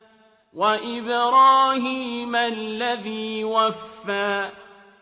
وَإِبْرَاهِيمَ الَّذِي وَفَّىٰ